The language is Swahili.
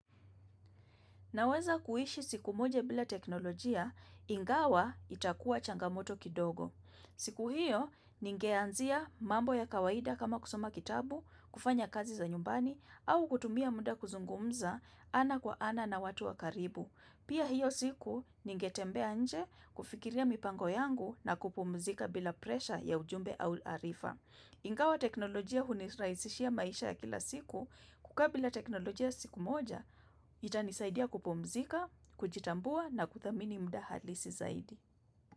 Naweza kuishi siku moja bila teknolojia, ingawa itakua changamoto kidogo. Siku hiyo, ningeanzia mambo ya kawaida kama kusoma kitabu, kufanya kazi za nyumbani, au kutumia muda kuzungumza ana kwa ana na watu wa karibu. Pia hiyo siku, ningetembea nje kufikiria mipango yangu na kupumzika bila presha ya ujumbe au arifa. Ingawa teknolojia huni rahisishia maisha ya kila siku kukaa bila teknolojia siku moja itanisaidia kupumzika, kujitambua na kuthamini mda halisi zaidi.